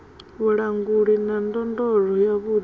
vhulanguli na ndondolo yavhuḓi ya